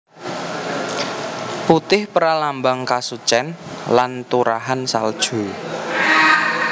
Putih pralambang kasucen lan turahan salju